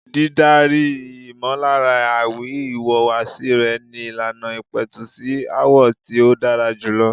Dídárí ìmọllára àwi ìwùwàsí rẹ ni ìlànà ìpẹ̀tù sí aáwọ̀ tí ó dára jùlọ.